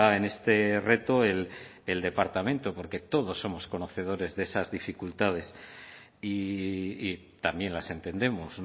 en este reto el departamento porque todos somos conocedores de esas dificultades y también las entendemos